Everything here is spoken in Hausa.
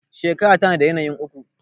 shekara tana da yanayin uku